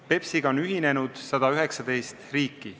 BEPS-iga on ühinenud 119 riiki.